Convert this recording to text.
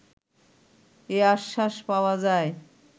এ আশ্বাস পাওয়া যায়